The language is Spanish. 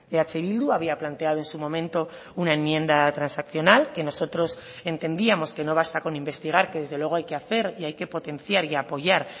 eh bildu había planteado en su momento una enmienda transaccional que nosotros entendíamos que no basta con investigar que desde luego hay que hacer y hay que potenciar y apoyar